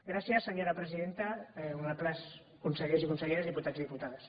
gràcies senyora presidenta honorables consellers i conselleres diputats i diputades